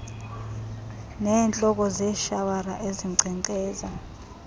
neentloko zeeshawara ezinkcenkceza